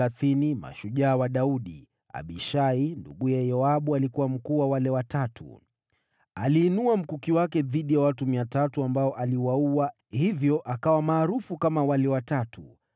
Abishai, ndugu yake Yoabu ndiye alikuwa kiongozi wa hao Watatu. Aliinua mkuki wake dhidi ya watu 300, ambao aliwaua, kwa hiyo naye akawa na sifa kama hao Watatu.